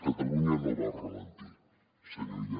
catalunya no va al ralentí senyor illa